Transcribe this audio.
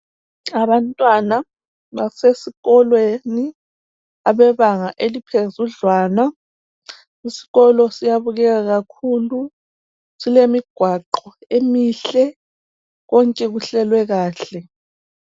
abantwana basesikolweni abebanga eliphezudlwana isikolo siyabukeka kakhulu silemigwaqo emihle konke kuhlelwe kahle